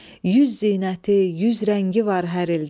Yüz zinəti, yüz rəngi var hər ildə.